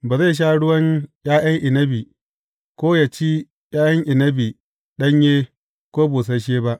Ba zai sha ruwan ’ya’yan inabi, ko yă ci ’ya’yan inabi ɗanye ko busasshe ba.